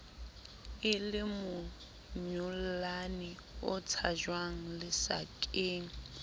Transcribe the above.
e lemonyollane o tshajwang lesakeng